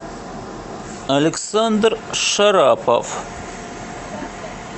александр шарапов